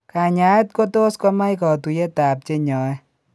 Kanyaayet kotos komch katuiyetab chenyaaye.